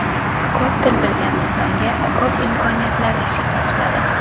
Ko‘p til bilgan insonga ko‘p imkoniyatlar eshigi ochiladi.